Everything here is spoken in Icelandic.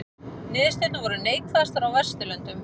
Niðurstöðurnar voru neikvæðastar á Vesturlöndum